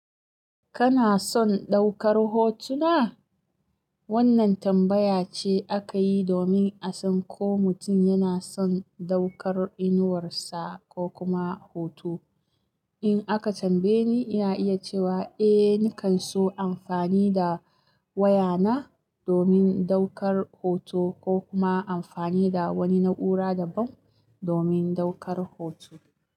Kana son ɗaukar hotuna? Wannan tambaya ce aka yi domin a san ko mutum yana son ɗaukar inuwarsa ko kuma hoto. In aka tambaye ni, ina iya cewa eh, nakan so amfani da wayana domin ɗaukar hoto ko kuma amfani da wani na'ura daban domin ɗaukar hoto.